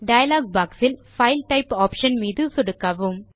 dialogue boxயில் file type option மீது சொடுக்கவும்